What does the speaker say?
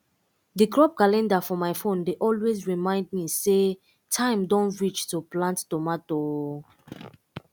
the crop calendar for my phone dey always remind me say time don reach to plant tomato o